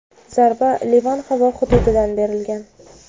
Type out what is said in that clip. zarba Livan havo hududidan berilgan.